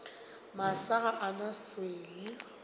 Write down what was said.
masa ga a na swele